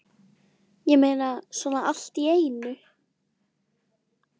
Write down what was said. Ég meina, svona allt í einu?